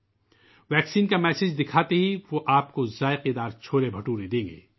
جب آپ ٹیکہ لگوانے سے متعلق پیغام دکھائیں گے تو وہ آپ کو لذیذ چھولے پیش کریں گے